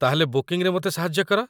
ତା'ହେଲେ ବୁକିଂରେ ମୋତେ ସାହାଯ୍ୟ କର।